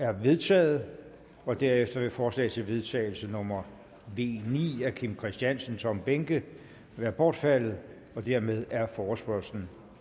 er vedtaget herefter er forslag til vedtagelse nummer v ni af kim christiansen og tom behnke bortfaldet dermed er forespørgslen